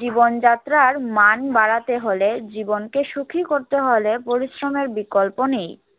জীবনযাত্রার মান বাড়াতে হলে, জীবনকে সুখী করতে হলে পরিশ্রমের বিকল্প নেই।